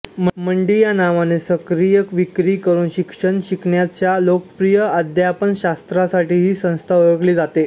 मंडी या नावाने सक्रिय विक्री करून शिक्षण शिकण्याच्या लोकप्रिय अध्यापनशास्त्रासाठी ही संस्था ओळखली जाते